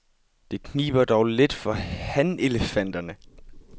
Det kniber dog lidt for hanelefanterne.